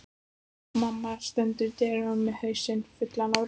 Mamma stendur í dyrunum með hausinn fullan af rúllum.